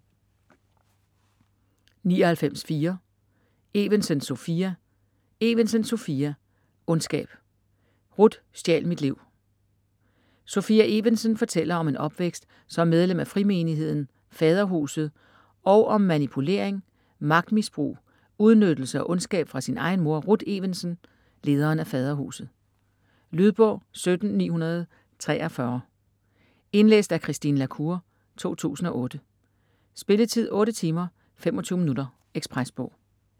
99.4 Evensen, Sopia Evensen, Sophia: Ondskab: Ruth stjal mit liv Sophia Evensen fortæller om en opvækst som medlem af frimenigheden Faderhuset og om manipulering, magtmisbrug, udnyttelse og ondskab fra sin egen mor, Ruth Evensen, lederen af Faderhuset. Lydbog 17943 Indlæst af Christine La Cour, 2008. Spilletid: 8 timer, 25 minutter. Ekspresbog